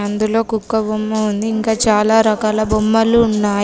అందులో కుక్క బొమ్మ ఉంది ఇంకా చాలా రకాల బొమ్మలు ఉన్నాయి.